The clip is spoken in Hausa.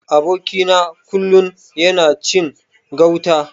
Aboki na kullun yana cin gauta.